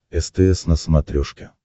стс на смотрешке